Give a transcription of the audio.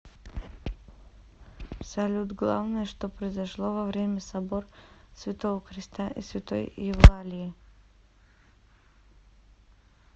салют главное что произошло во время собор святого креста и святой евлалии